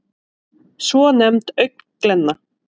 svonefnd augnglenna